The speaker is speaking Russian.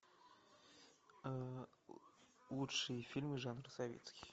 лучшие фильмы жанра советский